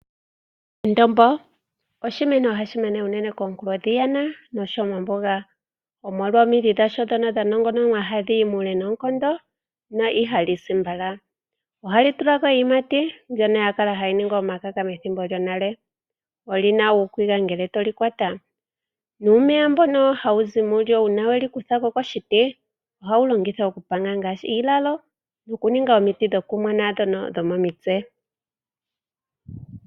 Endombo oshimeno hashi mene komunkulo dheyana nosho wo mombuga, omolwa omidhi dhasho ndhoka dha nongononwa hadhiyi muule noonkondo na ihali si mbala. Ohali tula ko iiyimati mbyono ya kala hayi ningwa omakaka methimbo lyonale. Oli na uukegwa ngele toli kwata nuumeya mbono hawu zi mo uuna weli kutha koshiti, ohawu longithwa okupanga ngaashi iilalo nokuninga omiti dhokumona ndhono dhomomitse.